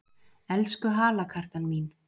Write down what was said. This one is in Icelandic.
Elsku halakartan mín!